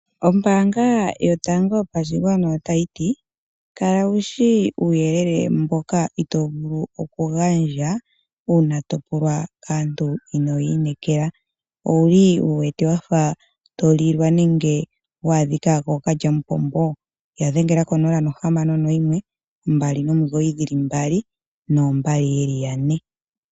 Ombaanga yotango yopashigwana otayiti, kala wushi uuyelele mboka itoovulu okugandja uuna topulwa kaantu inoo ya inekela, owuli wuwete wafa tolilwa nenge wa adhika kookalya omupombo, yadhengela nena, onola no hamano noyimwe, mbali nomigoyi dhili mbali, noo mbali dhili ne.